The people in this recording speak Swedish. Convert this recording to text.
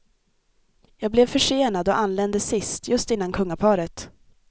Jag blev försenad och anlände sist, just innan kungaparet.